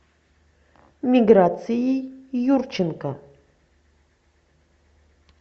миграцией юрченко